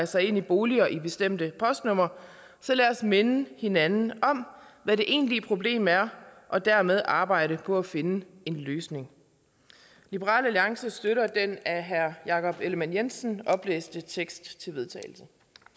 sig ind i boliger i bestemte postnumre så lad os minde hinanden om hvad det egentlige problem er og dermed arbejde på at finde en løsning liberal alliance støtter den af herre jakob ellemann jensen oplæste tekst til vedtagelse